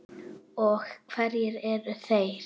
Og hverjir eru þeir?